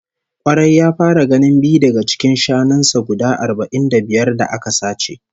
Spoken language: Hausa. Kwarai, ya fara ganin biyu daga cikin shanun sa guda arba'in da biyar da aka sace